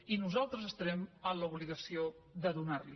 i nosaltres estarem en l’obligació de donar los la